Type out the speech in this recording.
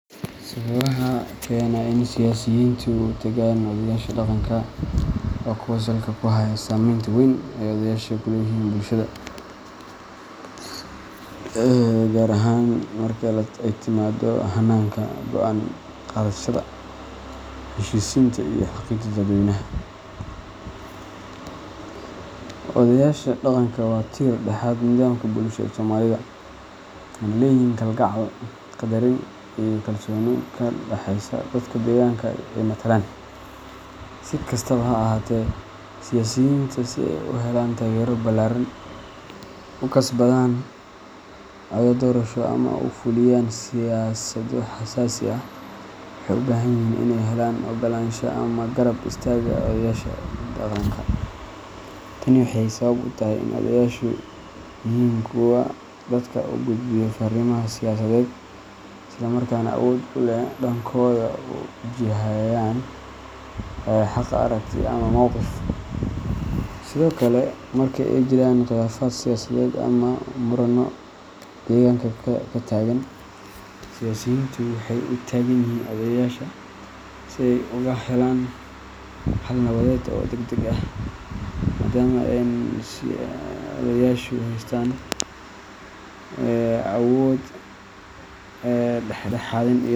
Sababaha keena in siyaasiyiintu u tagaan odayaasha dhaqanka waa kuwo salka ku haya saameynta weyn ee odayaasha ku leeyihiin bulshada, gaar ahaan marka ay timaado hannaanka go’aan qaadashada, heshiisiinta, iyo hagidda dadweynaha. Odayaasha dhaqanka waa tiir-dhexaadka nidaamka bulsho ee Soomaalida, waxayna leeyihiin kalgacal, qadarin iyo kalsooni ka dhexaysa dadka deegaanka ay matalaan. Si kastaba ha ahaatee, siyaasiyiinta – si ay u helaan taageero ballaaran, u kasbadaan codad doorasho ama u fuliyaan siyaasado xasaasi ah – waxay u baahan yihiin inay helaan oggolaanshaha ama garab istaagga odayaasha dhaqanka. Tani waxay sabab u tahay in odayaashu yihiin kuwa dadka u gudbiya fariimaha siyaasadeed, isla markaana awood u leh inay dadkooda u jihayaan xagga aragti ama mowqif. Sidoo kale, marka ay jiraan khilaafaad siyaasadeed ama muranno deegaanka ka taagan, siyaasiyiintu waxay u tagaan odayaasha si ay uga helaan xal nabadeed oo degdeg ah, maadaama ay odayaashu haystaan awood dhexdhexaadin iyo.